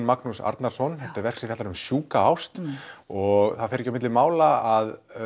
Magnús Arnarson þetta er verk sem fjallar um sjúka ást og það fer ekki á milli mála að